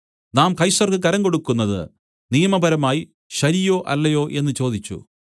നാം കൈസർക്ക് കരം കൊടുക്കുന്നത് നിയമപരമായി ശരിയോ അല്ലയോ എന്നു ചോദിച്ചു